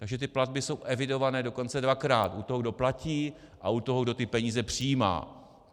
Takže ty platby jsou evidované dokonce dvakrát - u toho, kdo platí, a u toho, kdo ty peníze přijímá.